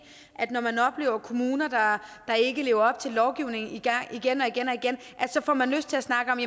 at når man oplever kommuner der ikke lever op til lovgivning igen og igen får man lyst til at snakke om